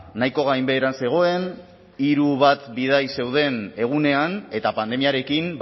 nahiko gainbeheran zegoen hiru bat bidaia zeuden egunean eta pandemiarekin